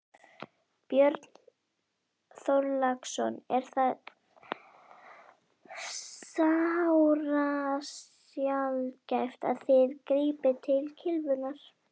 Björn Þorláksson: Er það sárasjaldgæft að þið grípið til kylfunnar?